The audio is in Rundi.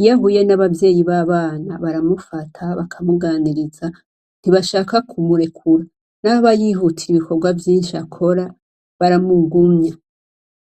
Iyo ahuye n' abavyeyi b' abana, baramufata ,bakamuganiriza, ntibashaka kumurekura. Naho aba yihutira ibikorwa vyinshi akora, baramugumya.